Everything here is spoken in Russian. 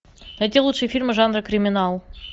найти лучшие фильмы жанра криминал